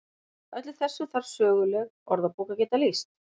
Öllu þessu þarf söguleg orðabók að geta lýst.